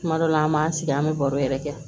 Kuma dɔ la an b'an sigi an bɛ baro yɛrɛ kɛ